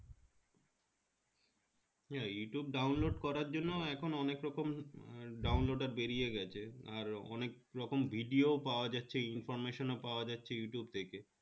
YouTube download করার জন্য এখন অনেকরকম download বেরিয়ে গেছে আর অনেকরকম video ও পাওয়া যাচ্ছে information ও পাওয়া যাচ্ছে ইউটু থেকে